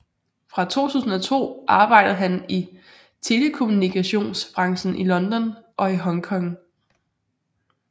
Fra 2002 arbejdede han i telekommunikations branchen i London og i Hongkong